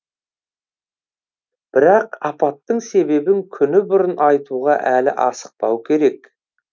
бірақ апаттың себебін күні бұрын айтуға әлі асықпау керек